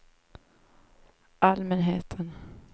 allmänheten